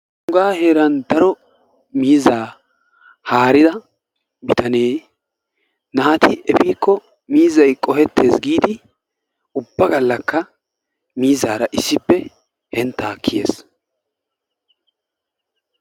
Nuugaa heeran daro miizzaa haarida bitanee naati efiikko miizzay qohettees giidi ubba gallakka miizzaara issippe henttaa kiyees.